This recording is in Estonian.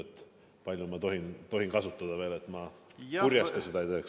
Kui palju ma tohin seda aega veel kasutada, et ma seda kurjasti ei teeks?